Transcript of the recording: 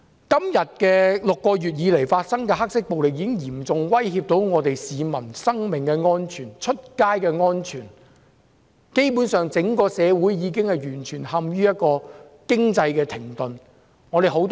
這6個月以來發生的黑色暴力已經嚴重威脅市民的生命安全和外出時的安全，整個社會基本上已完全陷於經濟停頓。